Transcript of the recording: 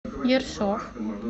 ершов